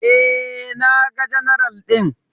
E, naga general ɗin.